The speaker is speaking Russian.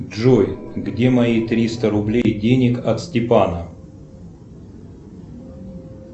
джой где мои триста рублей денег от степана